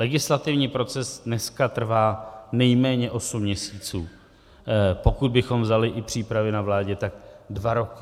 Legislativní proces dneska trvá nejméně osm měsíců, pokud bychom vzali i přípravy na vládě, tak dva roky.